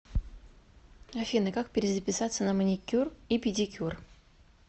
афина как перезаписаться на маникюр и педикюр